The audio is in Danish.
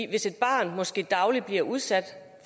hvis et barn måske dagligt bliver udsat